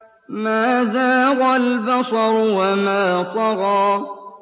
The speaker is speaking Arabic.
مَا زَاغَ الْبَصَرُ وَمَا طَغَىٰ